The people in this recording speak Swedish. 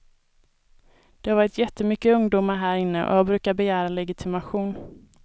Det har varit jättemycket ungdomar här inne och jag brukar begära legitimation.